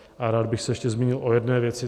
A rád bych se ještě zmínil o jedné věci.